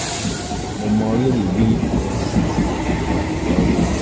mo mọ rírì bí ọ̀ràn àìsàn ọkọ rẹ ṣe jẹ ọ́ lógún